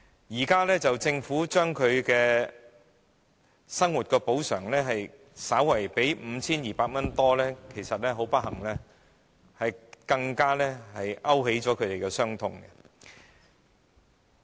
現在政府對他們的生活補償金額增加至 5,200 元多一點，其實反而很不幸地會勾起他們的傷痛。